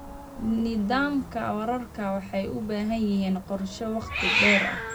Nidaamyada waraabka waxay u baahan yihiin qorshe wakhti dheer ah.